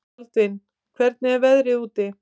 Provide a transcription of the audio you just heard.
Baldvin, hvernig er veðrið úti?